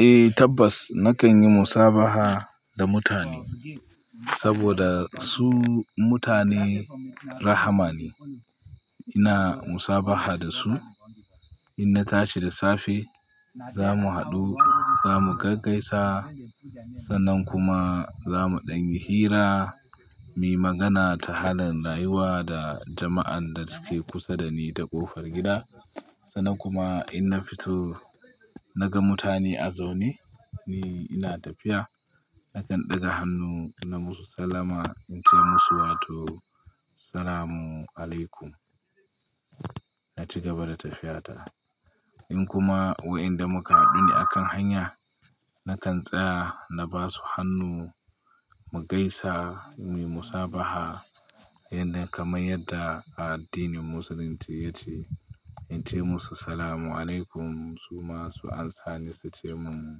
Eh tabbas, nakan yi musabaha da mutane saboda su mutane rahama ne. Ina musabaha da su. In na tashi da safe, zamu haɗu, zamu gaggaisa sannan kuma zamu ɗan yi hira, muyi magana ta halin rayuwa da jama'an da suke kusa da ni da ƙofar gida. Sannan kuma in na fito na ga mutane a zaune, ni ina tafiya nakan ɗaga hannu na musu salama in ce musu wato "Salamun alaykum" na ci gaba da tafiyata. In kuma wai inda muka haɗu akan hanya, nakan tsaya na ba su hannu mu gaisa muyi musabaha yadda kamar yadda a addinin musulunci yace. In ce musu "Salamun alaykum" su ma su amsa ni su ce min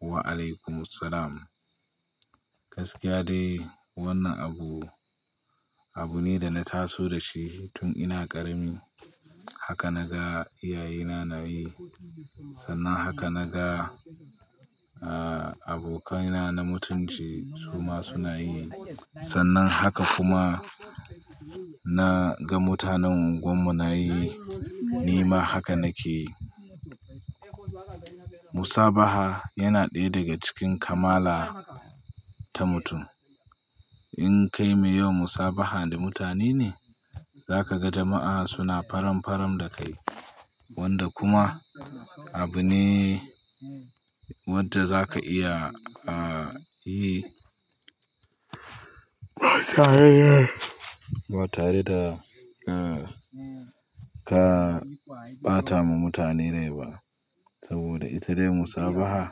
"Wa alaykumu salam". Gaskiya dai wannan abu, abu ne da na taso da shi tun ina ƙarami. Haka naga iyaye na na yi, sannan haka naga abokaina na mutunci su ma suna yi. Sannan haka kuma na ga mutanen unguwar mu na yi, ni ma haka nake yi. Musabaha yana ɗaya daga cikin kamala ta mutum. In kai mai yawan musabaha da mutane ne, za ka ga jama'a suna faramfarar da kai wanda kuma abu ne wanda za ka iya yi ba tare da ka ɓata ma mutane rai ba saboda ita dai musabaha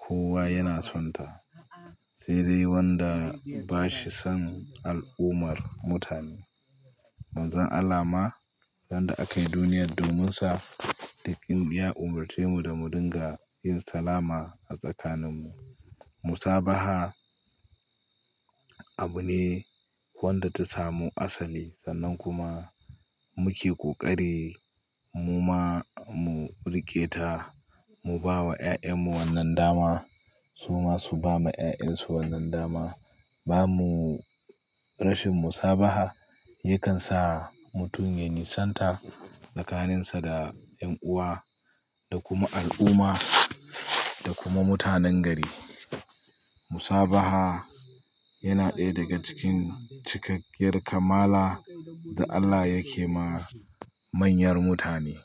kowa yana son ta. Sai dai wanda ba shi son al'ummar mutane. Manzon Allah ma, wanda a kai duniyar domin sa likin ya umarce mu da mu dinga yin salama a tsakanin mu. Musabaha abu ne wanda ta samu asali sannan kuma muke ƙoƙari mu ma mu riƙe ta, mu ba wa 'ya'yan mu wannan dama su ma su ba ma 'ya'yan su wannan dama. Ba mu rashin musabaha yakan sa mutum ya nisanta tsakaninsa da 'yan uwa da kuma al'umma da kuma mutanen gari. Musabaha yana ɗaya daga cikin cikakkiyar kamala da Allah yake ma manyar mutane.